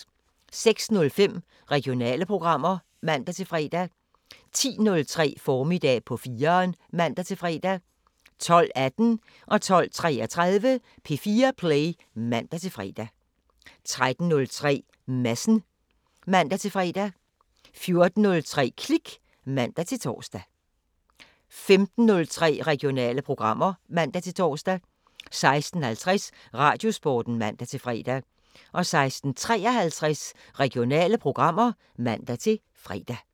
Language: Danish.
06:05: Regionale programmer (man-fre) 10:03: Formiddag på 4'eren (man-fre) 12:18: P4 Play (man-fre) 12:33: P4 Play (man-fre) 13:03: Madsen (man-fre) 14:03: Klik (man-tor) 15:03: Regionale programmer (man-tor) 16:50: Radiosporten (man-fre) 16:53: Regionale programmer (man-fre)